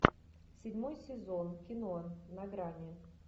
седьмой сезон кино на грани